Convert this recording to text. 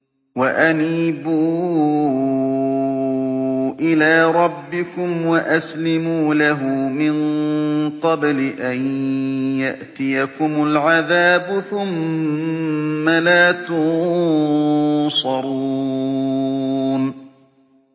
وَأَنِيبُوا إِلَىٰ رَبِّكُمْ وَأَسْلِمُوا لَهُ مِن قَبْلِ أَن يَأْتِيَكُمُ الْعَذَابُ ثُمَّ لَا تُنصَرُونَ